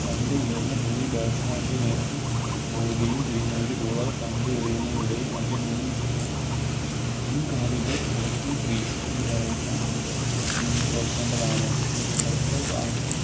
പന്ത് ഉയർന്ന് പൊങ്ങി Batsman ൻറെ നേർക്ക് പോവുകയും ചെയ്യുന്നതോടെ ഒരു Bowler പന്ത് എറിയുന്നതിനിടെ തൻറെ മുൻ മുൻ കാലുകൾ Popping crease ൽ ന്ന് പറയുന്നു വയ്‌ക്കേണ്ടതാണ്